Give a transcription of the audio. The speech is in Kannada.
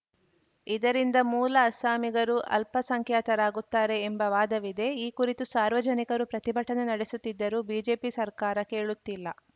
ಇದರಿಂದ ಮೂಲ ಅಸ್ಸಾಮಿಗರು ಅಲ್ಪಸಂಖ್ಯಾತರಾಗುತ್ತಾರೆ ಎಂಬ ವಾದವಿದೆ ಈ ಕುರಿತು ಸಾರ್ವಜನಿಕರು ಪ್ರತಿಭಟನೆ ನಡೆಸುತ್ತಿದ್ದರೂ ಬಿಜೆಪಿ ಸರ್ಕಾರ ಕೇಳುತ್ತಿಲ್ಲ